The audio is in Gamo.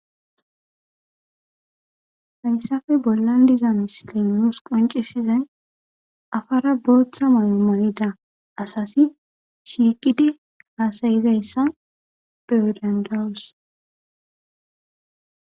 fayssafe bollan diza misiley nous qoncisizay afara booththa maamayida asasi shiiqidi haasayizayssa peyodandawus